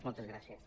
moltes gràcies